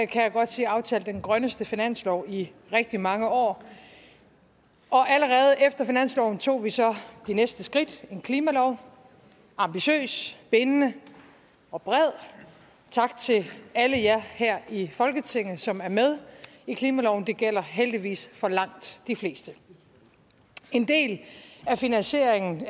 kan jeg godt sige aftalt den grønneste finanslov i rigtig mange år allerede efter finansloven tog vi så det næste skridt en klimalov ambitiøs bindende og bred tak til alle jer her i folketinget som er med i klimaloven det gælder heldigvis for langt de fleste en del af finansieringen